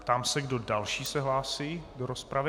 Ptám se, kdo další se hlásí do rozpravy.